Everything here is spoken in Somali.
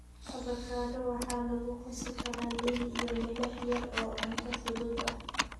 Avocado waxaa lagu qasi karaa liin iyo milix yar oo cunto fudud ah.